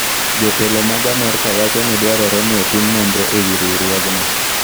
Jotelo mag Amerka wacho ni dwarore ni otim nonro e wi riwruogno.